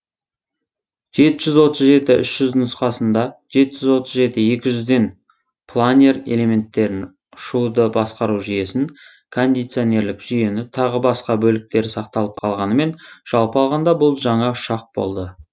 жеті жүз отыз жеті үш жүз нұсқасында жеті жүз отыз жеті екі жүзден планер элементтерін ұшуды басқару жүйесін кондиционерлік жүйені тағы басқа бөліктері сақталып қалғанымен жалпы алғанда бұл жаңа ұшақ болды